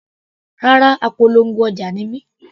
Rárá, apolongo ọjà ni mí.